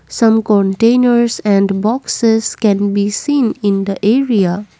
some containers and boxes can be seen in the area.